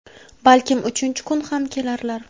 Balkim uchinchi kun ham kelarlar).